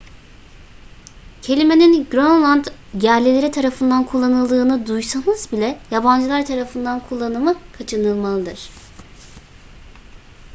kelimenin grönland yerlileri tarafından kullanıldığını duysanız bile yabancılar tarafından kullanımı kaçınılmalıdır